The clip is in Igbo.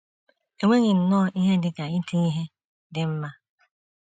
E nweghị nnọọ ihe dị ka iti ihe “ dị mma